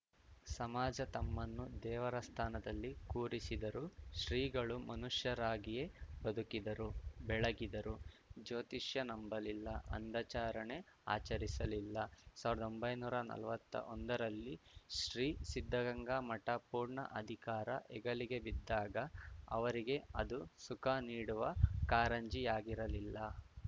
ಸಮಾಜ ತಮ್ಮನ್ನು ದೇವರ ಸ್ಥಾನದಲ್ಲಿ ಕೂರಿಸಿದರೂ ಶ್ರೀಗಳು ಮನುಷ್ಯರಾಗಿಯೇ ಬದುಕಿದರು ಬೆಳಗಿದರು ಜ್ಯೋತಿಷ್ಯ ನಂಬಲಿಲ್ಲ ಅಂಧಾಚರಣೆ ಆಚರಿಸಲಿಲ್ಲ ಸಾವಿರ್ದೊಂಬಯ್ನೂರಾ ನಲ್ವತ್ತೊಂದರಲ್ಲಿ ಶ್ರೀ ಸಿದ್ದಗಂಗಾ ಮಠ ಪೂರ್ಣ ಅಧಿಕಾರ ಹೆಗಲಿಗೆ ಬಿದ್ದಾಗ ಅವರಿಗೆ ಅದೂ ಸುಖ ನೀಡುವ ಕಾರಂಜಿಯಾಗಿರಲಿಲ್ಲ